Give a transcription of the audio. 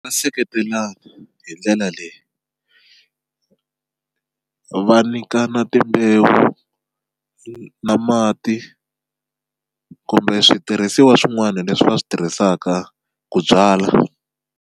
Va seketelana hi ndlela leyi va nyikana timbewu na mati kumbe switirhisiwa swin'wana leswi va swi tirhisaka ku byala.